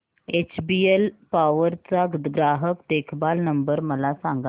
HBL power चा ग्राहक देखभाल नंबर मला सांगा